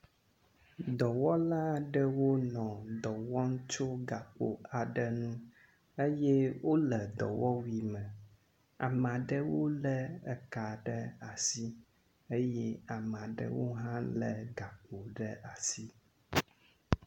Dɔwɔla aɖewo nɔ dɔ wɔm tson gakpo aɖe ŋu eye wole dɔwɔwui me, ame aɖewo lé eka ɖe asi eye ame aɖewo hã lé gakpo ɖe asi.